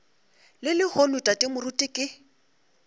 le lehono tate moruti ke